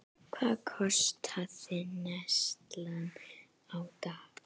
Hvað kostaði neyslan á dag?